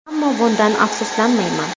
Ammo bundan afsuslanmayman.